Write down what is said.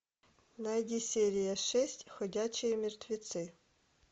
найди серия шесть ходячие мертвецы